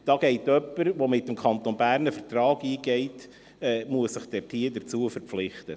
Jemand, der mit dem Kanton Bern einen Vertrag eingeht, muss sich dazu verpflichten.